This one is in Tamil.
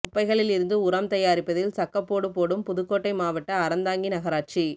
குப்பைகளில் இருந்து உரம் தயாரிப்பதில் சக்கப்போடு போடும் புதுக்கோட்டை மாவட்ட அறந்தாங்கி நகராட்சி